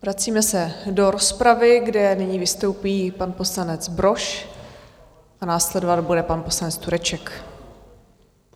Vracíme se do rozpravy, kde nyní vystoupí pan poslanec Brož a následovat bude pan poslanec Tureček.